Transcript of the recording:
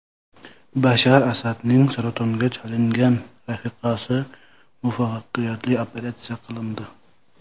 Bashar Asadning saratonga chalingan rafiqasi muvaffaqiyatli operatsiya qilindi.